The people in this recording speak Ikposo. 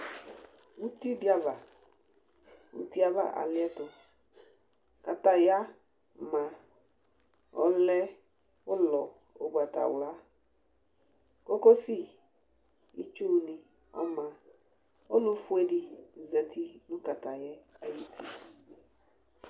Uti di ava! Uti ava alɩɛtʋKataya ma, ɔlɛ ʋlɔ ʋgbatawlaKokosi itsu nɩ ɔma; ɔlʋ fue dɩ zati nʋ katayaɛ ayʋ uti